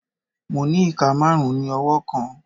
Mo ni ika marun ni ọwọ kọọkan